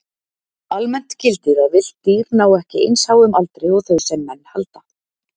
Almennt gildir að villt dýr ná ekki eins háum aldri og þau sem menn halda.